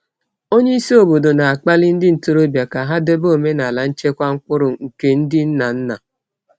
Onye isi obodo na-akpali ndị ntorobịa ka ha debe omenala nchekwa mkpụrụ nke ndị nna nna.